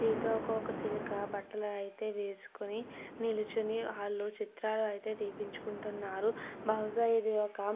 సీతాకోక సిలుక బట్టల అయితే వేసుకొని నిల్చొని హల్లో చిత్రాలు అయితే తీపించుకుంటున్నారు బహుశా ఇది ఒక --